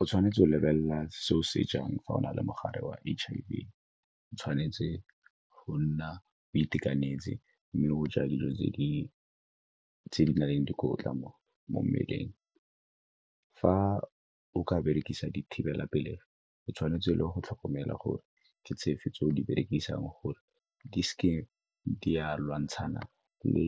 O tshwanetse go lebelela se o se jang fa o na le mogare wa H_I_V o tshwanetse go nna o itekanetse mme go ja dijo tse di na leng dikotla mo mmeleng. Fa o ka berekisa dithibelapelegi, o tshwanetse le go tlhokomela gore ke tse fe tse o di berekisang gore di seke di a lwantshana le